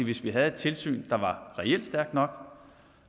hvis vi havde et tilsyn der reelt var stærkt nok